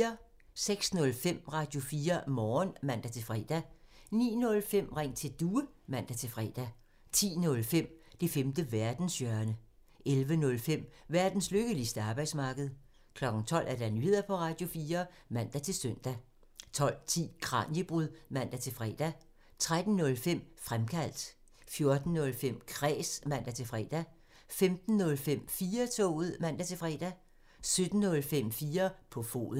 06:05: Radio4 Morgen (man-fre) 09:05: Ring til Due (man-fre) 10:05: Det femte verdenshjørne (man) 11:05: Verdens lykkeligste arbejdsmarked (man) 12:00: Nyheder på Radio4 (man-søn) 12:10: Kraniebrud (man-fre) 13:05: Fremkaldt (man) 14:05: Kræs (man-fre) 15:05: 4-toget (man-fre) 17:05: 4 på foden (man)